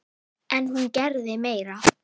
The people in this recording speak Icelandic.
En hún gerði meira.